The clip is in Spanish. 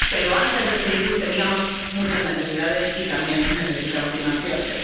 Pero antes de este virus teníamos muchas necesidades y también necesitan financiarse.